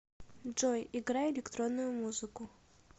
джой играй электронную музыку